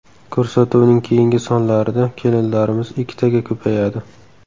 Ko‘rsatuvning keyingi sonlarida kelinlarimiz ikkitaga ko‘payadi.